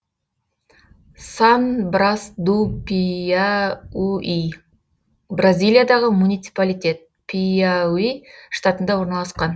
сан брас ду пиауи бразилиядағы муниципалитет пиауи штатында орналасқан